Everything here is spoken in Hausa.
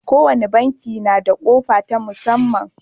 Kowane banki na da ƙofa ta musamman.